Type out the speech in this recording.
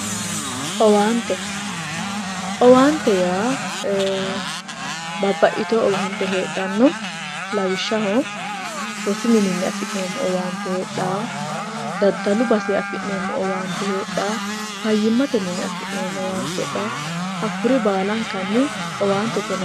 Owaante, owaante yaa ee babbaxitino owaante heedhano lawishshaho rosu minini afi'nanni owaante heedhano daddalu baseni afi'neemmo owaante heedhano fayyimate minini afi'neemmo owaante heedhano hakkuri baalankanni owaantete yinnanni.